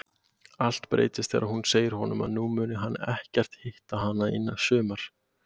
Allt breytist þegar hún segir honum að nú muni hún ekkert hitta hann í sumar.